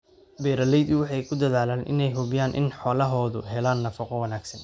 Beeraleydu waxay ku dadaalaan inay hubiyaan in xoolahoodu helaan nafaqo wanaagsan.